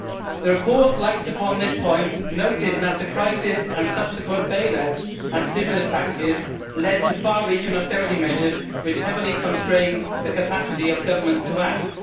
The report lights upon this point, noting that the crisis and subsequent bail outs and stimulus packages led to far reaching austerity measures which heavily constrain the capacity of governments to act'.